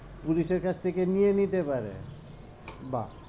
Police এর কাছ থেকে নিয়ে নিতে পারে বাহ্,